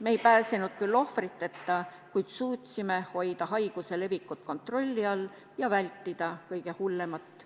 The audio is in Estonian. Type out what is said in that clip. Me ei pääsenud küll ohvriteta, kuid suutsime hoida haiguse leviku kontrolli all ja vältida kõige hullemat.